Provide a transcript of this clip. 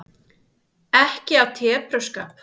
Ekki af tepruskap.